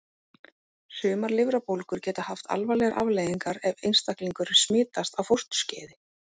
Sumar lifrarbólgur geta haft alvarlegar afleiðingar ef einstaklingur smitast á fósturskeiði.